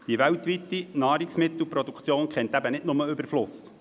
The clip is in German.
Die weltweite Nahrungsmittelproduktion kennt eben nicht nur den Überfluss.